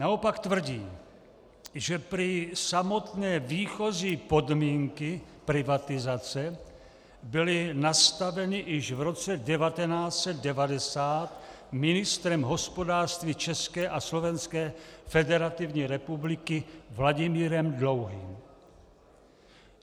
Naopak tvrdí, že prý samotné výchozí podmínky privatizace byly nastaveny již v roce 1990 ministrem hospodářství České a Slovenské Federativní Republiky Vladimírem Dlouhým.